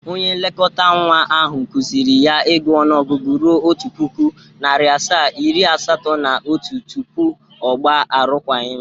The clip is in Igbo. Onye nlekọtanwa ahụ kụzịrị ya ịgụ ọnụọgụgụ ruo otu pụkụ, narịa asaa, iri asatọ na otu tupu ọ gba arụkwaghịm.